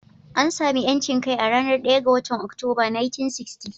An sami 'yancin kai a ranar 1 ga Oktoba, 1960.